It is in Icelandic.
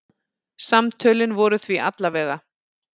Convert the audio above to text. Samtölin voru því alla vega.